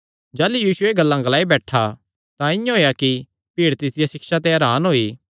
जाह़लू यीशु एह़ गल्लां ग्लाई बैठा तां इआं होएया कि भीड़ तिसदिया सिक्षा ते हरान होई